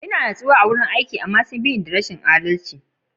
Ina natsuwa a layin aiki na, amma sun bi da ni da rashin adalci.